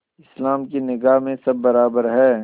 इस्लाम की निगाह में सब बराबर हैं